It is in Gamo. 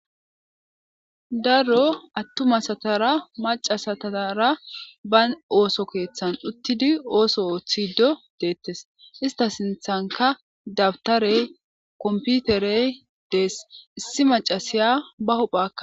Daro attuma asatara macca asatazara bani osso keththan uttidi osso oththido dettes ista sinththanka dabtarey komppiterey dees issi maccasiyaka ba huphpha.